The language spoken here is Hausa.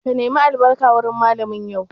Ka nema albarka wurin Mallamin yau?